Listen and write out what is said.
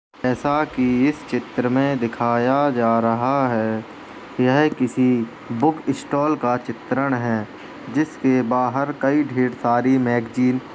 जैसा कि इस चित्र में दिखाया जा रहा हैं यह किसी बुक स्टॉल का चित्रण हैं। जिसके बाहर कई ढ़ेर सारी मैगज़ीन --